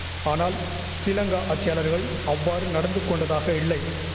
ஆனால் ஸ்ரீலங்கா ஆட்சியாளர்கள் அவ்வாறு நடந்துகொண்டதாக இல்லை